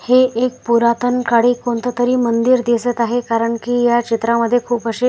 हे एक पुरातन काळी कोणततरी मंदिर दिसत आहे कारण की या क्षेत्रामध्ये खूप असे --